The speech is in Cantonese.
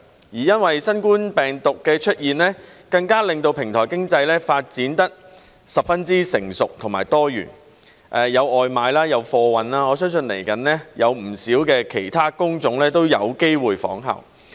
因為新冠病毒的出現，更令到平台經濟發展得十分成熟和多元，有外賣、有貨運，我相信未來有不少其他工種都有機會仿效。